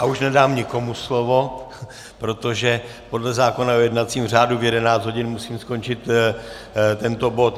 A už nedám nikomu slovo, protože podle zákona o jednacím řádu v 11 hodin musíme skončit tento bod.